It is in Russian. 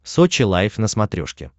сочи лайф на смотрешке